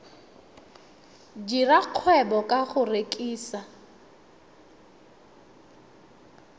dira kgwebo ka go rekisa